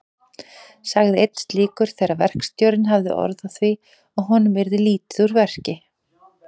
sagði einn slíkur þegar verkstjórinn hafði orð á því að honum yrði lítið úr verki.